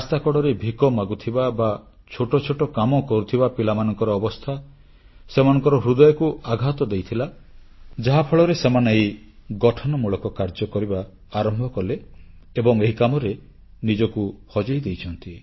ରାସ୍ତାକଡ଼ରେ ଭିକ ମାଗୁଥିବା ବା ଛୋଟ ଛୋଟ କାମ କରୁଥିବା ପିଲାମାନଙ୍କର ଅବସ୍ଥା ସେମାନଙ୍କ ହୃଦୟକୁ ଆଘାତ ଦେଇଥିଲା ଯାହାଫଳରେ ସେମାନେ ଏହି ଗଠନମୂଳକ କାର୍ଯ୍ୟ କରିବା ଆରମ୍ଭ କଲେ ଏବଂ ଏହି କାମରେ ନିଜକୁ ହଜେଇ ଦେଇଛନ୍ତି